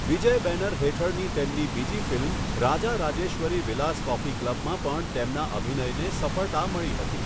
વિજય banner હેઠળની તેમની બીજી ફિલ્મ 'રાજા રાજેશ્વરી વિલાસ કોફી ક્લબ'માં પણ તેમના અભિનયને સફળતા મળી હતી.